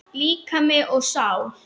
Líkami og sál